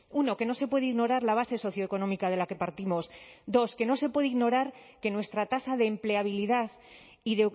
uno que no se puede ignorar la base socioeconómica de la que partimos dos que no se puede ignorar que nuestra tasa de empleabilidad y